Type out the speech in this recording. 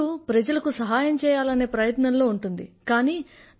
ఆమె ఎప్పుడు ప్రజలకి సహాయం చెయ్యాలనే ప్రయత్నంలో ఉంటుంది